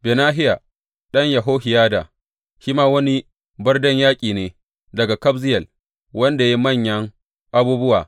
Benahiya ɗan Yehohiyada shi ma wani barden yaƙi ne daga Kabzeyel, wanda ya yi manyan abubuwa.